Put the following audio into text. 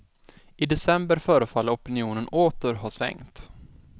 I december förefaller opinionen åter att ha svängt.